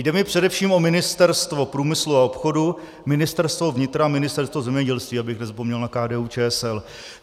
Jde mi především o Ministerstvo průmyslu a obchodu, Ministerstvo vnitra a Ministerstvo zemědělství, abych nezapomněl na KDU-ČSL.